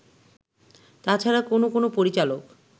তাছাড়া কোন কোন পরিচালক